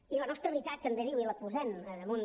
i la nostra veritat també diu i la posem damunt